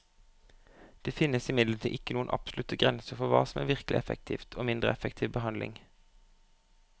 Det finnes imidlertid ikke noen absolutte grenser for hva som er virkelig effektiv og mindre effektiv behandling.